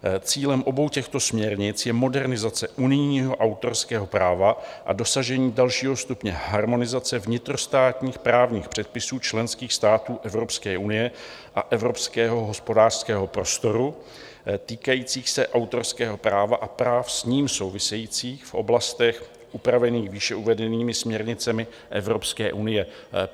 Cílem obou těchto směrnic je modernizace unijního autorského práva a dosažení dalšího stupně harmonizace vnitrostátních právních předpisů členských států Evropské unie a evropského hospodářského prostoru, týkající se autorského práva a práv s ním souvisejících v oblastech upravených výše uvedenými směrnicemi Evropské unie.